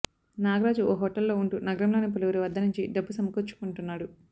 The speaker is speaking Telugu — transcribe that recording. నాగరాజు ఓ హోటల్లో ఉంటూ నగరంలోని పలువురి వద్ద నుంచి డబ్బు సమకూర్చుకుంటున్నాడు